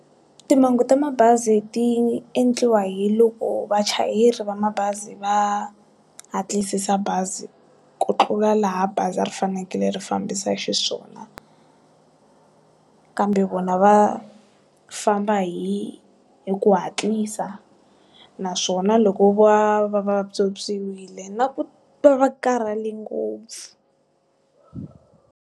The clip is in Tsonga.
Timhangu ta mabazi ti endliwa hi loko vachayeri va mabazi va hatlisisa bazi ku tlula laha bazi ri fanekele ri fambisa xiswona kambe vona va famba hi, hi ku hatlisa naswona loko va va vatswotswiwile na ku va va karhale ngopfu.